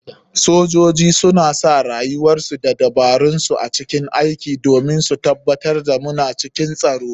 Sojoji suna sa rayuwarsu da dabararsu a cikin aiki domin su tabatar da muna cikin tsaro.